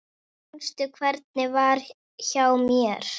Manstu hvernig var hjá mér?